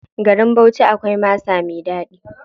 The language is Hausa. Garin Bauchi akwai masa mai ɗaɗi.